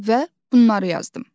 Və bunları yazdım.